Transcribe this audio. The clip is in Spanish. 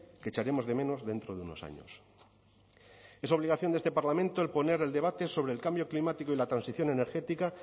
que echaremos de menos dentro de unos años es obligación de este parlamento el poner el debate sobre el cambio climático y la transición energética